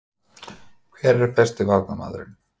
Hver er besti Varnarmaðurinn?